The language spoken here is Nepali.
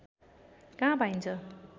कहाँ पाइन्छ